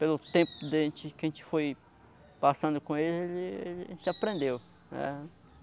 Pelo tempo que a gente que a gente foi passando com ele, a gente aprendeu.